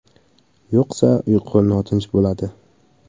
Yo‘qsa, uyqu notinch bo‘ladi.